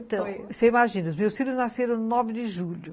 Então, você imagina, os meus filhos nasceram nove de julho.